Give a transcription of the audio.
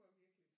Var virkelig